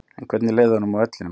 En hvernig leið honum á vellinum?